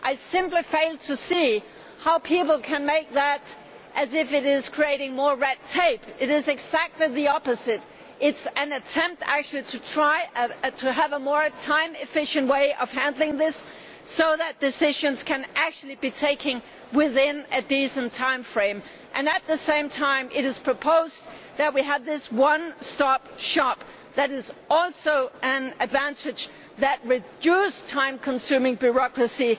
I simply fail to see how people can take that as creating more red tape. It is doing exactly the opposite. It is actually an attempt to have a more time efficient way of handling this, so that decisions can be taken within a decent time frame, and at the same time it is proposed that we have this one stop shop. That is also an advantage that reduces time consuming bureaucracy.